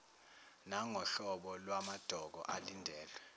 nangohlobo lwamadokodo alindelwe